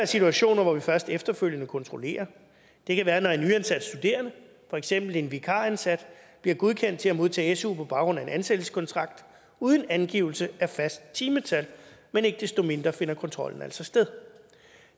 situationer hvor vi først efterfølgende kontrollerer det kan være når en nyansat studerende for eksempel en vikaransat bliver godkendt til at modtage su på baggrund af en ansættelseskontrakt uden angivelse af fast timetal men ikke desto mindre finder kontrollen altså sted